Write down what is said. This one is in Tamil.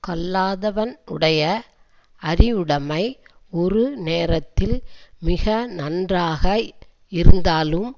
கல்லாதவன் உடைய அறிவுடைமை ஒரு நேரத்தில் மிக நன்றாக இருந்தாலும்